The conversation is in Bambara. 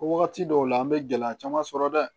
Wagati dɔw la an bɛ gɛlɛya caman sɔrɔ dɛ